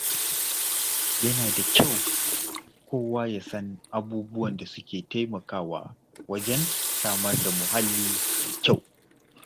Yana da kyau kowa ya san abubuwan da suke taimakawa wajen samar da muhalli mai kyau.